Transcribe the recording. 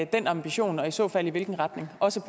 den ambition og i så fald i hvilken retning også